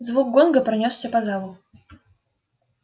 звук гонга пронёсся по залу